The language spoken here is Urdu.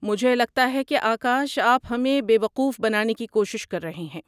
مجھے لگتا ہے کہ آکاش آپ ہمیں بے وقوف بنانے کی کوشش کر رہے ہیں۔